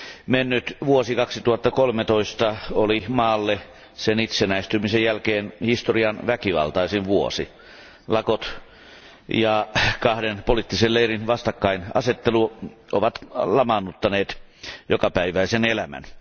Mennyt vuosi 2013 oli maalle sen itsenäistymisen jälkeen historian väkivaltaisin vuosi. Lakot ja kahden poliittisen leirin vastakkainasettelu ovat lamaannuttaneet jokapäiväisen elämän.